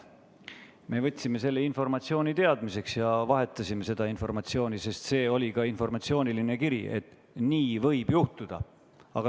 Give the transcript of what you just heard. Me võtsime selle informatsiooni teadmiseks ja vahetasime seda, sest see oli informatsiooniline kiri, et nii võib juhtuda.